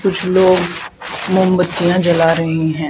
कुछ लोग मोमबत्तियां जला रहे हैं।